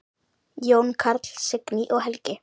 Jón Karl, Signý og Helgi.